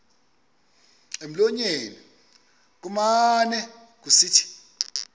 emlonyeni kumane kusithi